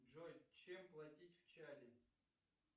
джой чем платить в чаде